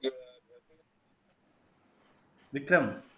Vikram